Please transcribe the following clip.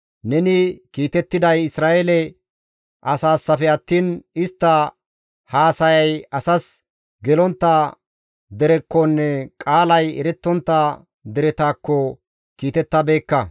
Neni kiitettiday Isra7eele asaassafe attiin istta haasayay asas gelontta derekkonne qaalay erettontta deretakko gidenna.